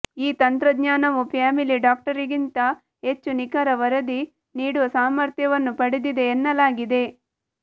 ಈ ತಂತ್ರಜ್ಞಾನವು ಫ್ಯಾಮಿಲಿ ಡಾಕ್ಟರ್ಗಿಂತ ಹೆಚ್ಚು ನಿಖರ ವರದಿ ನೀಡುವ ಸಾಮರ್ಥ್ಯವನ್ನು ಪಡೆದಿದೆ ಎನ್ನಲಾಗಿದೆ